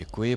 Děkuji.